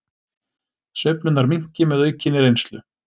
Sveiflurnar minnki með aukinni reynslu